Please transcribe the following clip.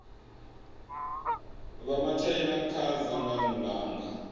vha matshaina kha dzangano langa